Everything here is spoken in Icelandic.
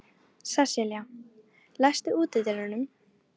Sesselía, læstu útidyrunum.